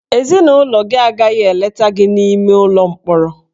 Ezinụlọ gị agaghị eleta gị n'ime ụlọ mkpọrọ